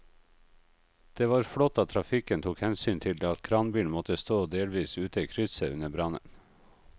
Det var flott at trafikken tok hensyn til at kranbilen måtte stå delvis ute i krysset under brannen.